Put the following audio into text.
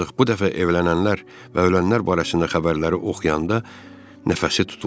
Ancaq bu dəfə evlənənlər və ölənlər barəsində xəbərləri oxuyanda nəfəsi tutuldu.